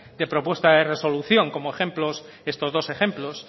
de propuesta de resolución como ejemplos estos dos ejemplos